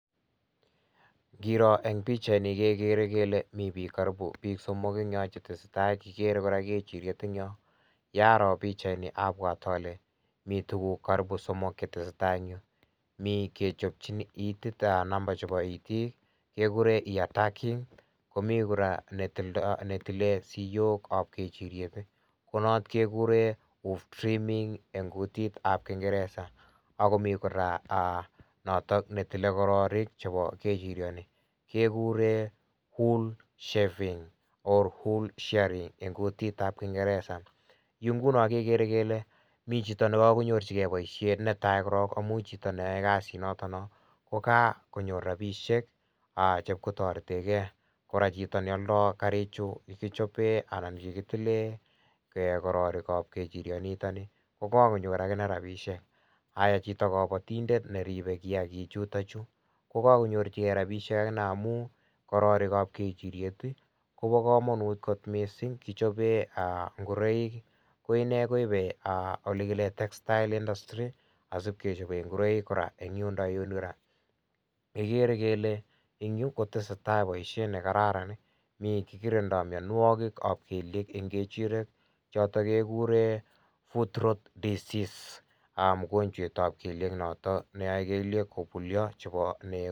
Ngiroo eng pichaini kegere kele mi biik karipu biik somok eng yo chetese tai. Kiger kora kechiriet eng yo. Yaroo pichaini abwoti ale mi tuguk karipu somok che tesetai eng yu. Mi kechopchin itiit a nampa chebo itiik, kegure ear tagging. Komi kora netildo, netilen siyokab kechiriet. Konot kegure hoof treamming eng kutitab kingeresa, agomi kora, nitok ne tile kororik chebo kechiriani. Kegure wool shaving or wool shearing eng kutitab kingeresa. Yu nguno kegere mi chito ne kagonyorchige boisiet netai korok amu chito neyae kasi notoko kakonyor rapisiek che ipkotoretegei. Kora chito ne aldo karichu che kichobei anan che kitilen kororokab kechirio nito ni kokakonyor agine rapisiek. Aya chito kabatindet ne ribe kiagichutochu, ko kakonyorgei rapisiek agine amu kororikab kechiriet, kobokamanut kot mising amu kichobe aa ingoroik. Ko inne koibe aa olegile textile industry asi ipkechobei ingoroik kora eng yundo yu kora. Kegere kele eng yu kotesetai boisiet ne kararan. Mikikirindo mianwogikab kelyek eng kechirek, choto keguren, footrot disease, mogonjwetab kelyek noto neyoe kelyek kobulio chebo nego.